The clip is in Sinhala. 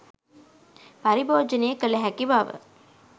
පරිභෝජනය කළ හැකි බව